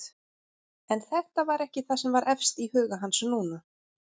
En þetta var ekki það sem var efst í huga hans núna.